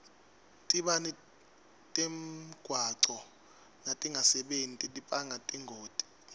tibane temgwaco natingasebenti tibanga tingoti